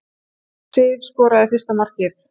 Sif skoraði fyrsta markið